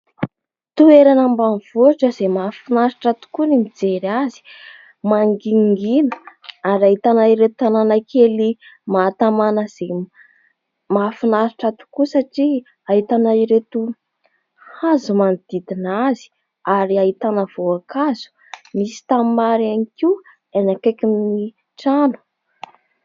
Toerana ambanivohitra izay mahafinaritra tokoa ny mijery azy. Mangingina ary ahitana ireto tanàna kely mahatamana izay mahafinaritra tokoa satria ahitana ireto hazo manodidina azy ary ahitana voankazo. Misy tanimbary ihany koa any akaikin'ny trano.